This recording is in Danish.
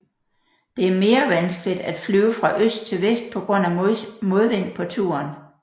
Det er mere vanskeligt at flyve fra øst til vest på grund af modvind på turen